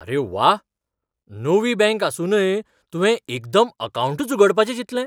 अरे व्वा! नवीं बँक आसुनूय तुवें एकदम अकावंटच उगडपाचे चिंतलें.